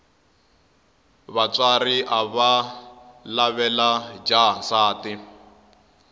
vatswari avalavela jaha nsati